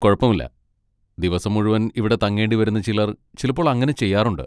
കുഴപ്പമില്ല, ദിവസം മുഴുവൻ ഇവിടെ തങ്ങേണ്ടി വരുന്ന ചിലർ ചിലപ്പോൾ അങ്ങനെ ചെയ്യാറുണ്ട്.